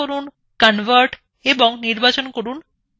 এবার click করুন convert এবং নির্বাচন করুন to 3d